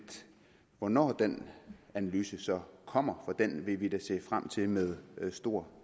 hvornår den analyse så kommer for den vil vi da se frem til med stor